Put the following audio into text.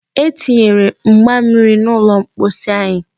E tinyere mgba mmiri n'ụlọ mposi anyị.